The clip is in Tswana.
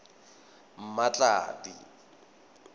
mmatladi